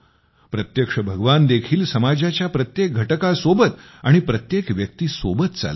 प्रत्यक्ष भगवान देखील समाजाच्या प्रत्येक घटकासोबत आणि प्रत्येक व्यक्तीसोबत चालतात